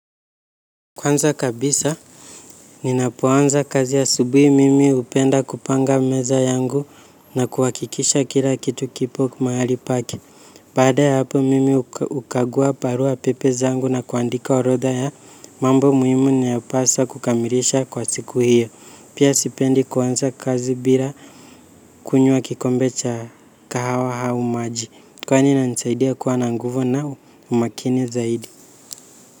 Kwanza kabisa, ninapoanza kazi ya asubuhi mimi hupenda kupanga meza yangu na kuhawakikisha kila kitu kipo mahali pake. Baada ya hapo mimi ukagua barua pepe zangu na kuandika orodha ya mambo muhimu niapasa kukamilisha kwa siku hiyo. Pia sipendi kwanza kazi bila kunywa kikombe cha kahawa au maji. Kwani inanisaidia kuwa na nguvu na umakini zaidi.